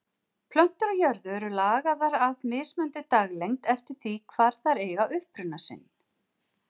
Plöntur á jörðu eru lagaðar að mismunandi daglengd eftir því hvar þær eiga uppruna sinn.